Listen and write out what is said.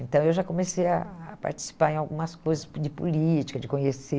Então eu já comecei a a participar em algumas coisas de política, de conhecer,